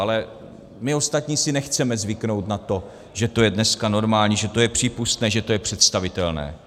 Ale my ostatní si nechceme zvyknout na to, že to je dneska normální, že to je přípustné, že to je představitelné.